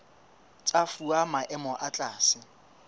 tsa fuwa maemo a tlase